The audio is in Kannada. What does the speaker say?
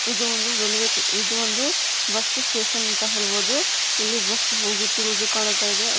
ಇದು ಒಂದು ರೈಲ್ವೆ ಇದು ಒಂದು ಬಸ್ ಸ್ಟೇಷನ್ ಅಂತ ಹೇಳಬಹುದು ಇಲಿ ಬಸ್ ಹೋಗ್ತಾ ಇರೋದು ಕಾಣ್ತಾ ಇದೆ .